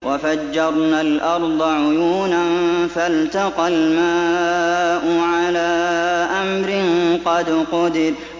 وَفَجَّرْنَا الْأَرْضَ عُيُونًا فَالْتَقَى الْمَاءُ عَلَىٰ أَمْرٍ قَدْ قُدِرَ